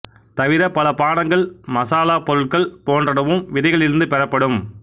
தவிர பல பானங்கள் மசாலாப் பொருள்கள் போன்றனவும் விதைகளிலிருந்து பெறப்படும்